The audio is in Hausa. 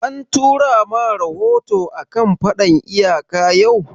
An tura ma rahoto a kan faɗan iyaka yau?